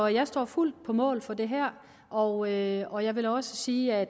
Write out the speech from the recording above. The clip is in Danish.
jeg står fuldt på mål for det her og jeg og jeg vil også sige at